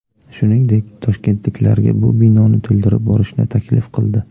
Shungdek, toshkentliklarga bu binoni to‘ldirib borishni taklif qildi.